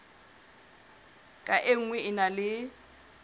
ka nngwe e na le